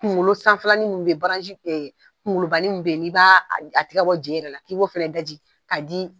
Kunkolo sanfɛlanin min bɛ yen, kunkolobanin bɛ yen, i b'a a tɛgɛ ka bɔ je yɛrɛ la ka b'o fana daji ka di